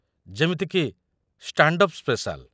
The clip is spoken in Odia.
ଯେମିତି କି ଷ୍ଟାଣ୍ଡ ଅପ୍ ସ୍ପେସାଲ୍।